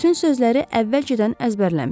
Bütün sözləri əvvəlcədən əzbərləmişdi.